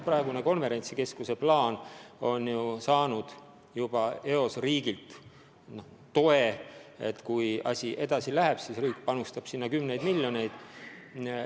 Praegune konverentsikeskuse plaan on ju saanud juba eos riigilt selles mõttes toe, et kui asi edasi läheb, siis riik panustab sinna kümneid miljoneid.